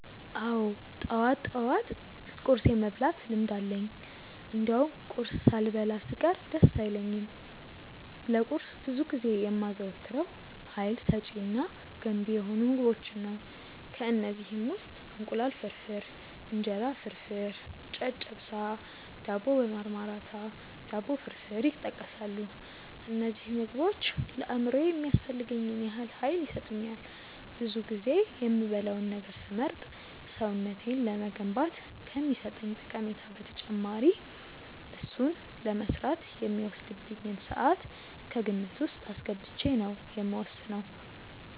አዎ ጠዋት ጠዋት ቁርስ የመብላት ልምድ አለኝ እንደውም ቁርስ ሳልበላ ስቀር ደስ አይለኝም። ለቁርስ ብዙ ጊዜ የማዘወትረው ሀይል ሰጪ እና ገንቢ የሆኑ ምግቦችን ነው። ከእነዚህም ውስጥ እንቁላል ፍርፍር፣ እንጀራ ፍርፍር፣ ጨጨብሳ፣ ዳቦ በማርማራታ፣ ዳቦ ፍርፍር ይጠቀሳሉ። እነዚህ ምግቦች ለአእምሮዬ የሚያስፈልገኝን ያህል ሀይል ይሰጡኛል። ብዙ ጊዜ የምበላውን ነገር ስመርጥ ሰውነቴን ለመገንባት ከሚሰጠኝ ጠቀሜታ በተጨማሪ እሱን ለመስራት የሚወስድብኝን ስዓት ከግምት ውስጥ አስገብቼ ነው የምወስነው።